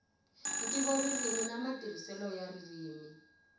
ntivoririmi na matirhiselo ya ririmi